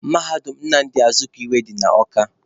Mahadum Nnamdị Azikiwe dị na Awka